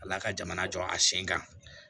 Ala ka jamana jɔ a sen kan